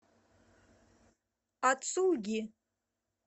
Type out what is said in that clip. ацуги